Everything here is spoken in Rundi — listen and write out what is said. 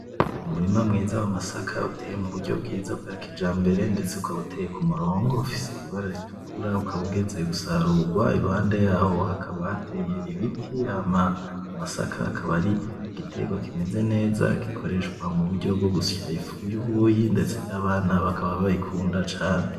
Umurima mwiza w'amasaka uteye muburyo bwiza bwakijambere ndetse ukaba uteye kumurongo ufise ibara ritukura ukaba ugeze gusarurwa iruhande yaho hakaba hateye ibiti, amasaka akaba ari igiterwa kimeze neza gikoreshwa muburyo bwo gusya ifu yubuyi ndetse nabana bakaba bayikunda cane.